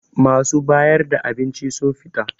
Masu bayar da abinci sun fita